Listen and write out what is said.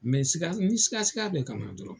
n sika sika bɛ ka na dɔrɔn.